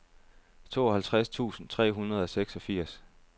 tooghalvtreds tusind tre hundrede og seksogfirs